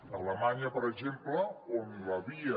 a alemanya per exemple on la via